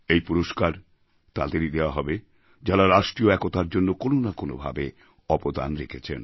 এই পুরস্কার তাঁদেরই দেওয়া হবে যাঁরা রাষ্ট্রীয় একতার জন্য কোনো না কোনো ভাবে অবদান রেখেছেন